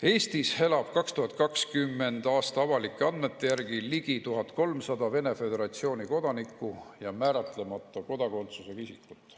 Eestis elab 2020. aasta avalike andmete järgi ligi 1300 Vene föderatsiooni kodanikku ja määratlemata kodakondsusega isikut.